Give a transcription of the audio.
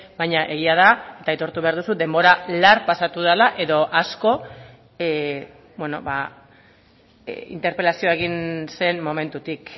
baina egia da eta aitortu behar duzu denbora lar pasatu dela edo asko interpelazioa egin zen momentutik